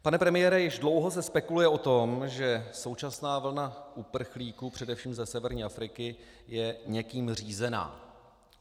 Pane premiére, už dlouho se spekuluje o tom, že současná vlna uprchlíků především ze severní Afriky je někým řízena.